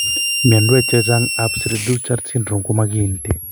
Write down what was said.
Mianwek chechangap cri du chat syndrome koma kiinti.